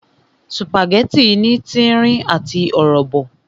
Sùpàgẹ́tì ní tírín àti ọ̀rọ̀bọ̀